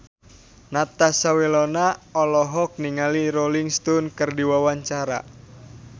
Natasha Wilona olohok ningali Rolling Stone keur diwawancara